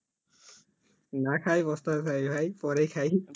না খায়াই পস্তাতে চাই ভাই পরেই খাই